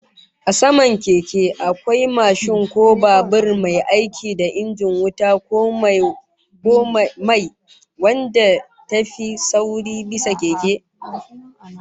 A saman Keke, akwai mashin ko babur, mai aiki da injin wuta ko mai, wadda ta fi sauri bisa keke